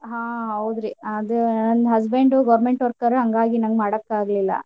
ಹಾ ಹೌದ್ರಿ ಆದ ನನ್ನ husband government worker ಹಾಂಗಾಗಿ ನಂಗ್ ಮಾಡಾಕ ಆಗ್ಲಿಲ್ಲಾ.